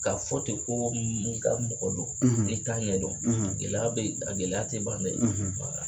Ka fɔ ten ko n ka mɔgɔ don n'i t'a ɲɛdɔn gɛlɛya bɛ yen a gɛlɛya tɛ ban dɛ